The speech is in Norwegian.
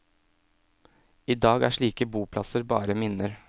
Idag er slike boplasser bare minner.